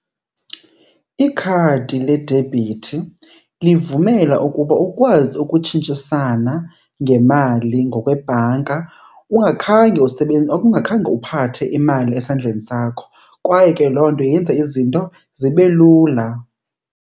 Ikhadi ledebhithi livumela ukuba ukwazi ukutshintshisana ngemali ngokwebhanka ungakhange , ungakhange uphathe imali esandleni sakho kwaye ke loo nto yenza izinto zibe lula.